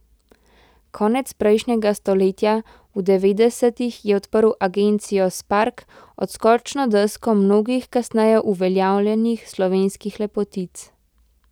Konec prejšnjega stoletja, v devetdesetih, je odprl agencijo Spark, odskočno desko mnogih kasneje uveljavljenih slovenskih lepotic.